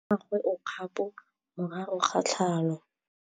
Mmagwe o kgapô morago ga tlhalô.